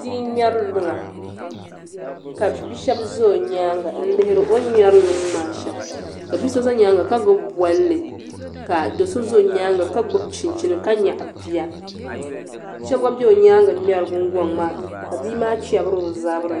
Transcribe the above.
Bia n ŋmɛri luŋa ka bia shab ʒɛ o nyaanga n lihiri o ni ŋmɛri luŋ maa shɛm ka bia so ʒɛ nyaanga ka gbubi bolli ka do so ʒɛ o nyaanga ka gbubi chinchini ka nyaɣa bia so gba bɛ o nyaangi ŋmɛri gungoŋ maa ka bia maa chɛbiri o zabiri